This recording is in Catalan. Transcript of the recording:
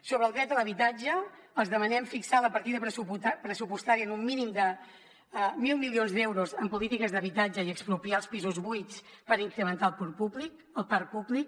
sobre el dret a l’habitatge els hi demanem fixar la partida pressupostària en un mínim de mil milions d’euros en polítiques d’habitatge i expropiar els pisos buits per incrementar el parc públic